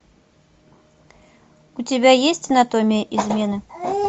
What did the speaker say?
у тебя есть анатомия измены